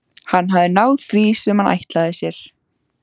Hann hafði náð því sem hann ætlaði sér.